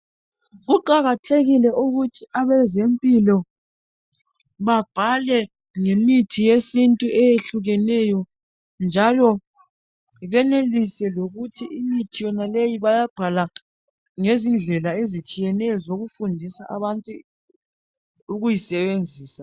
Kuqakathekile ukuthi abazempilo babhale ngemithi yesintu eyehlukeneyo. Njalo benelise lokuthi imithi yonaleyo bayabhala ngezindlela ezitshiyeneyo zokuthi abantu benelise ukuzisebenza.